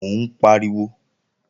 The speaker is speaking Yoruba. Ó ń pariwo